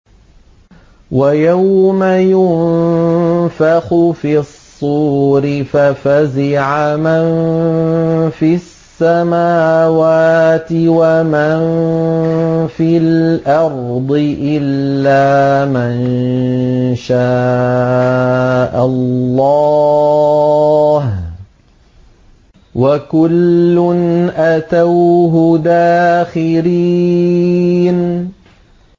وَيَوْمَ يُنفَخُ فِي الصُّورِ فَفَزِعَ مَن فِي السَّمَاوَاتِ وَمَن فِي الْأَرْضِ إِلَّا مَن شَاءَ اللَّهُ ۚ وَكُلٌّ أَتَوْهُ دَاخِرِينَ